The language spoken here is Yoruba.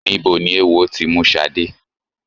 Níbo ni eéwo ti mú Ṣadé?